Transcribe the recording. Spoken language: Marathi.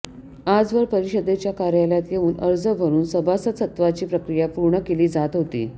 आजवर परिषदेच्या कार्यालयात येऊन अर्ज भरुन सभासदसत्वाची प्रक्रिया पूर्ण केली जात होती